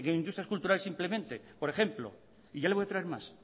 industrias culturales simplemente por ejemplo ya le voy a traer más